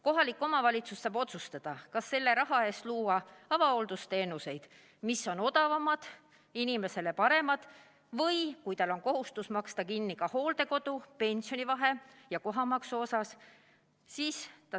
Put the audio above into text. Kohalik omavalitsus saab otsustada, kas selle raha eest luua avahooldusteenuseid, mis on odavamad ja inimesele paremad, või, kui tal on selline kohustus, siis maksta kinni ka pensionivahe hooldekodu kohamaksu tasumiseks.